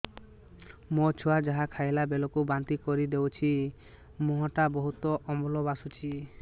ମୋ ଛୁଆ ଯାହା ଖାଇଲା ବେଳକୁ ବାନ୍ତି କରିଦଉଛି ମୁହଁ ଟା ବହୁତ ଅମ୍ଳ ବାସୁଛି